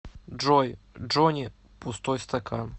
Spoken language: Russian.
джой джони пустой стакан